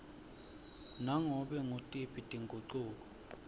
nganobe ngutiphi tingucuko